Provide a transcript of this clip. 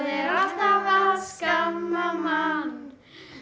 að skamma mann